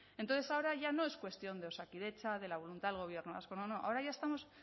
entonces ahora ya no es cuestión de osakidetza de la voluntad del gobierno vasco no no ahora ya estamos